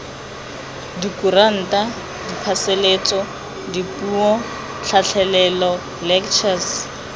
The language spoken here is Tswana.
dikuranta diphasalatso dipuo tlhatlhelelo lectures